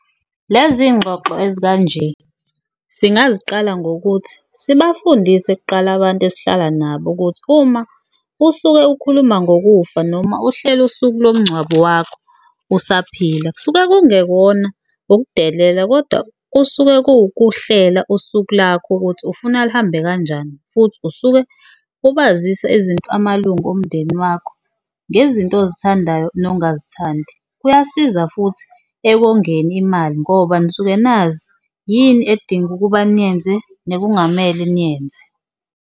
Lezi y'ngxoxo ezikanje singaziqala ngokuthi sibafundise kuqala abantu esihlala nabo ukuthi uma usuke ukhuluma ngokufa noma uhlela usuku lomngcwabo wakho usaphila kusuke kungekona ukudelela, kodwa kusuke kuwukuhlela usuku lakho ukuthi ufuna luhambe kanjani. Futhi usuke ubazisa izinto amalungu omndeni wakho ngezinto ozithandayo nongazithandi, kuyasiza futhi ekongeni imali ngoba nisuke nazi yini edinga ukuba niyenze nekungamele niyenze.